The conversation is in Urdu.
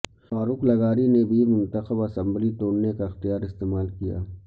فاروق لغاری نے بھی منتخب اسمبلی توڑنے کا اختیار استعمال کیا